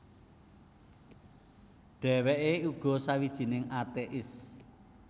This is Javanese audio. Dhèwèké uga sawijining atéis